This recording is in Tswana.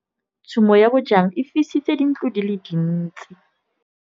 Tshumô ya bojang e fisitse dintlo di le dintsi.